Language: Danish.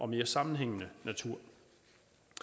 mere sammenhængende natur